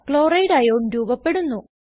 Chlorideസിഎൽ ion രൂപപെടുന്നു